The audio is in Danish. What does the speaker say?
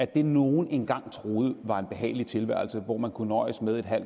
det nogen engang troede var en behagelig tilværelse hvor man kunne nøjes med en halv